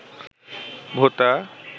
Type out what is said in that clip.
ভোতা